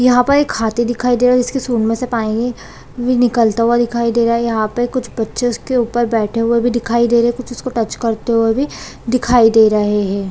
यहाँ पर एक हाथी दिखाई दे रही है जिसके सूढ़ में से पानी निकलता हुआ दिखाई दे रहा है यहाँ पे कुछ बच्चे उसके ऊपर बैठे हुए भी दिखाई दे रहे है कुछ उसको टच करते हुए भी दिखाई दे रहे हैं ।